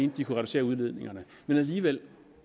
at de kunne reducere udledningerne men alligevel